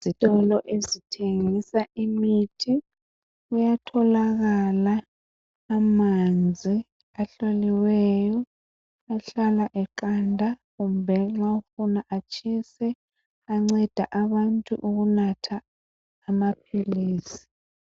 Izitolo ezithengisa imithi kuyatholakala amanzi ahloliweyo ahlala eqanda kumbe nxa ufuna atshise anceda abantu ukunatha amaphilisi.